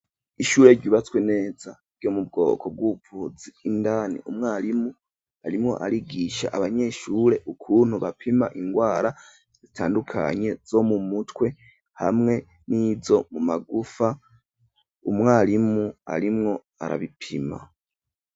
Ishure, ryubatswe neza, ryo mu bwoko bw'ubuvuzi, indani umwarimu, arimwo arigisha abanyeshure, ukuntu bapima ingwara, zitandukanye, zo mu mutwe, hamwe n'izo mu magufa; umwarimu arimwo arabipima.